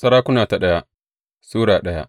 daya Sarakuna Sura daya